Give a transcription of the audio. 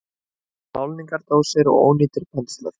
Málningardósir og ónýtir penslar.